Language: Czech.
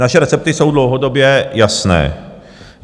Naše recepty jsou dlouhodobě jasné.